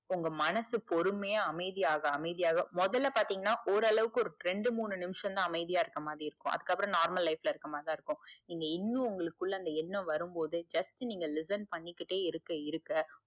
உங்க மனசு பொறுமையா அமைதியாக அமைதியாக முதல்ல பாத்திங்கனா ஓரளவுக்கு ரெண்டு மூனு நிமிஷம்தா அமைதியா இருக்க மாதிரி இருக்கும். அதுக்கு அப்புறம் normal life ல இருக்க மாதிரிதா இருக்கும் நீங்க இன்னும் உங்களுக்குள்ள அந்த எண்ணம் வரும் போது just நீங்க listen பண்ணிகிட்டே இருக்க இருக்க,